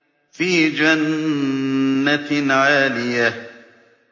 فِي جَنَّةٍ عَالِيَةٍ